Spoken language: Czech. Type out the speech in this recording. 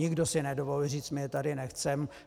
Nikdo si nedovolil říct my je tady nechceme.